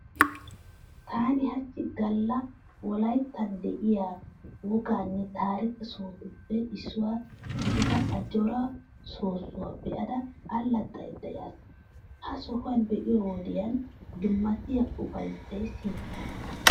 Taani hachchi galla wolayittan de'iya wogaanne taarike sohotuppe issuwa gidida Ajjoora soossuwa be'ada allaxxada yaas. Ha sohuwan be'iyo wodiyan dummatiya ufayissay siyettees.